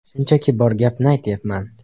Shunchaki bor gapni aytayapman.